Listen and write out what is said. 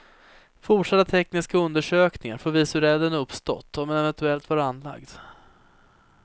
Fortsatta tekniska undersökningar får visa hur elden uppstått och om den eventuellt var anlagd.